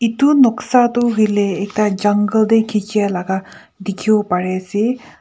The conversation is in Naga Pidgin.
etu noksa tu hoile ekta jungle teh khichi a laga dikhibo pare ase.